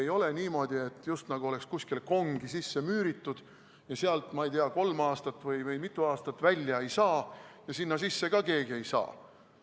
Ei ole niimoodi, et nad just nagu oleks kuskile kongi sisse müüritud ja sealt kolm või ei tea mitu aastat välja ei saa ja sinna sisse ka keegi ei saa.